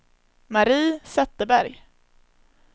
Mari Zetterberg